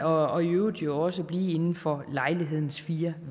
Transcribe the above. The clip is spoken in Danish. og i øvrigt jo også blive inden for lejlighedens fire